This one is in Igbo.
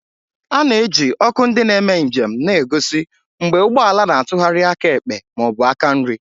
A na-eji ọkụ ndị na-eme njem na-egosi mgbe ụgbọ ala na-atụgharị aka ekpe ma ọ bụ aka nri.